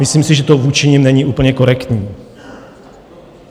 Myslím si, že to vůči nim není úplně korektní.